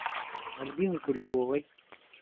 альбины куликовой